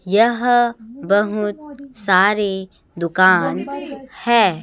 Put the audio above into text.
यह बहुत सारे दुकान है।